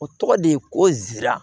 O tɔgɔ de ye ko nsira